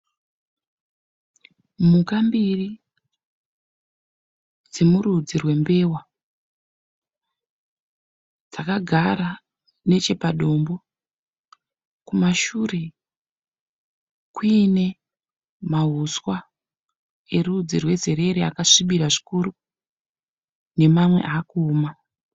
Mhuka mbiri dzemurudzi rwembeva dzakagara nechepadombo. Kumashure kuine mauswa erudzi rwezerere akasvibira zvikuru nemamwe akuoma.